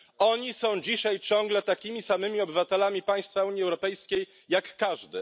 Oni są dzisiaj ciągle takimi samymi obywatelami państwa Unii Europejskiej jak każdy.